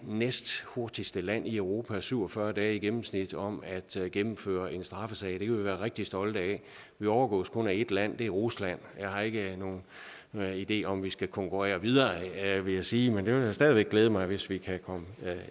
næsthurtigste land i europa med syv og fyrre dage i gennemsnit om at gennemføre en straffesag det kan vi være rigtig stolte af vi overgås kun af et land og det er rusland jeg har ikke nogen ideer om at vi skal konkurrere videre vil jeg sige men det vil stadig væk glæde mig hvis vi kan komme